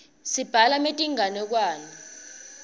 sibhala metinganekwane